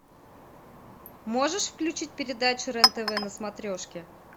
можешь включить передачу рен тв на смотрешке